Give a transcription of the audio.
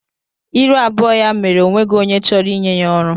Ịrụ abụọ ya mere o nweghị onye chọrọ ịnye ya ọrụ.